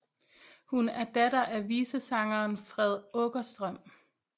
Hun er datter af visesangeren Fred Åkerström